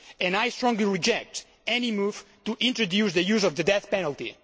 I strongly reject any move to introduce the use of the death penalty.